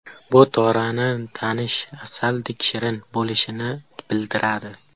Bu Torani tanish asaldek shirin bo‘lishini bildiradi.